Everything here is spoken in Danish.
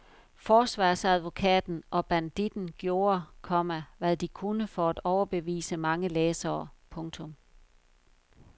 Forsvarsadvokaten og banditten gjorde, komma hvad de kunne for at overbevise mange læsere. punktum